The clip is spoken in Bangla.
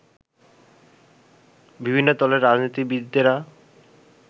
বিভিন্ন দলের রাজনীতিবিদেরা